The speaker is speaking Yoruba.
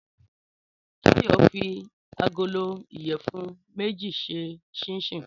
Táyọ̀ fi agolo ìyẹ̀fun méjì ṣe ṣinṣíìnì